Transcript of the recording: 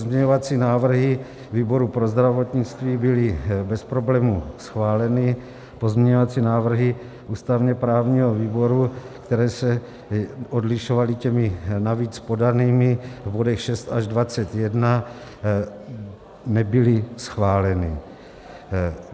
Pozměňovací návrhy výboru pro zdravotnictví byly bez problémů schváleny, pozměňovací návrhy ústavně-právního výboru, které se odlišovaly těmi navíc podanými v bodech 6 až 21, nebyly schváleny.